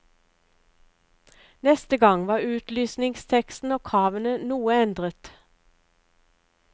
Neste gang var utlysningsteksten og kravene noe endret.